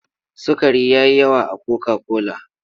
Sukari ya yi yawa a koka-kola.